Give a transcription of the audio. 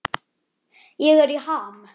Ég er í ham.